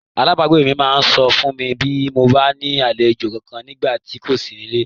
Alábàágbé mi máa sọ fún mi bí mo bá ní àlejò kankan nígbà tí n kò sí nílé.